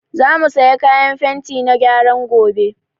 Za mu saya fenti na gyaran gobe